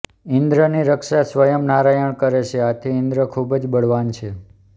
ઈન્દ્રની રક્ષા સ્વયં નારાયણ કરે છે આથી ઈન્દ્ર ખૂબ જ બળવાન છે